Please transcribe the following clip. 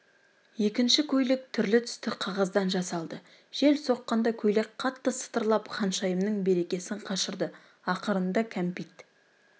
екінші көйлек түрлі түсті қағаздан жасалды жел соққанда көйлек қатты сытырлап ханшайымның берекесін қашырды ақырында кәмпит